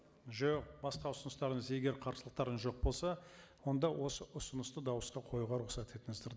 жоқ басқа ұсыныстарыңыз егер қарсылықтарыңыз жоқ болса онда осы ұсынысты дауысқа қоюға рұқсат етіңіздер